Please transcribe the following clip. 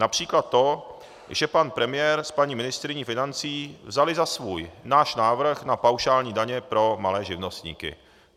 Například to, že pan premiér s paní ministryní financí vzali za svůj náš návrh na paušální daně pro malé živnostníky.